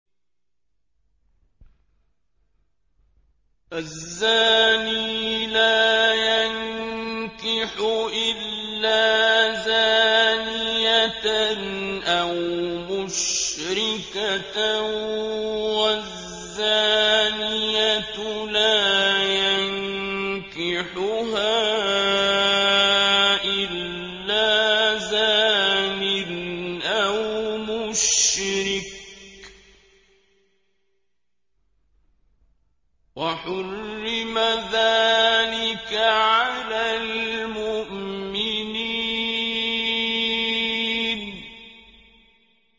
الزَّانِي لَا يَنكِحُ إِلَّا زَانِيَةً أَوْ مُشْرِكَةً وَالزَّانِيَةُ لَا يَنكِحُهَا إِلَّا زَانٍ أَوْ مُشْرِكٌ ۚ وَحُرِّمَ ذَٰلِكَ عَلَى الْمُؤْمِنِينَ